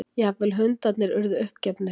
Jafnvel hundarnir urðu uppgefnir.